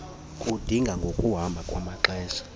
kuludinga ngokuhamba kwamaxesha